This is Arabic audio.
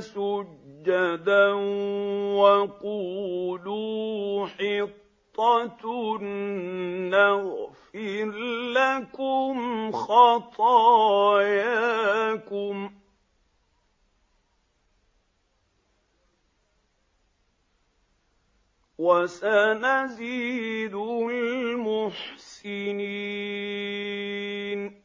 سُجَّدًا وَقُولُوا حِطَّةٌ نَّغْفِرْ لَكُمْ خَطَايَاكُمْ ۚ وَسَنَزِيدُ الْمُحْسِنِينَ